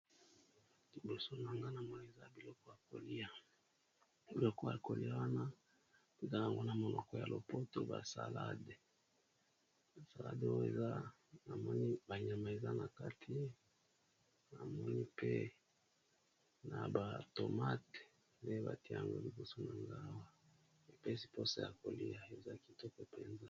Liboso na ngai namoni eza biloko ya kolia, biloko ya koliya wana eza nango na munoko ya lopoto ba salade ba salade oyo namoni ba nyama eza na kati, namoni pe na ba tomate pe, batye yango liboso na nga awa , epesi poso ya kolia eza kitoko mpenza.